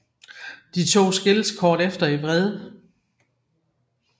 De to skilles kort efter i vrede